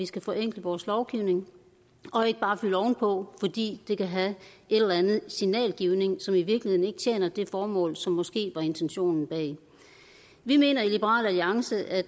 vi skal forenkle vores lovgivning og ikke bare fylde ovenpå fordi det kan have en eller anden signalgivning som i virkeligheden ikke tjener det formål som måske var intentionen bag vi mener i liberal alliance at